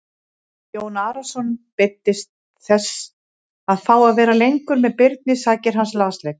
Jón Arason beiddist þess að fá að vera lengur með Birni sakir hans lasleika.